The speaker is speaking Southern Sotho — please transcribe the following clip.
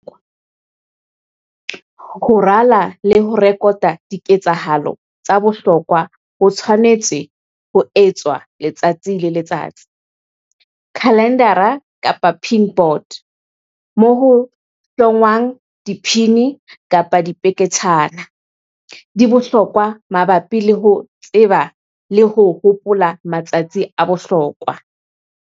Ho rala le ho rekota diketsahalo tsa bohlokwa ho tshwanetse ho etswa letsatsi le letsatsi. Khalendara kapa pin board, moo ho hlongwang diphini-dipeketshana, di bohlokwa mabapi le ho tseba le ho hopola matsatsi a bohlokwa.